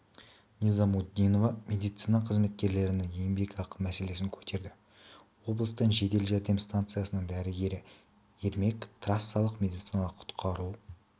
низамутдинова медицина қызметкерлерінің еңбек ақы мәселесін көтерді облыстың жедел жәрдем станциясының дәрігері ермек трассалық медициналық-құтқару